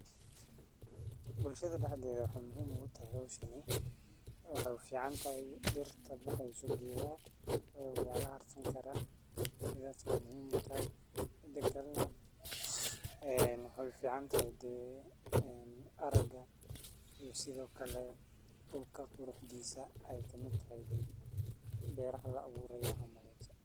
Bulshaada daxdedha waxee muhiim ogu tahay dirtaa waa laharsani karaa mida kale waxee uficantahay araga waxee kamiid tahay dulka quraxdisa beraha la aburayo ayey kamiid tahay sas waye.